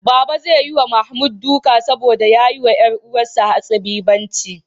Baba zai yi wa Mahmud duka saboda ya yi wa ƴar uwarsa hatsabibanci.